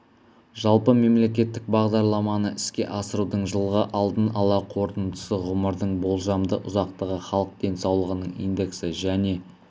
жалпы мемлекеттік бағдарламаны іске асырудың жылғы алдын ала қорытындысы ғұмырдың болжамды ұзақтығы халық денсаулығының индексі және